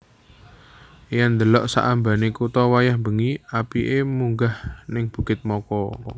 Yen ndelok sak ambane kuto wayah wengi apike munggah ning Bukit Moko